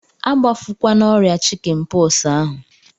Agbafukwana ọrịa chikin pọksi ahụ!